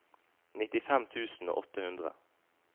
nittifem tusen og åtte hundre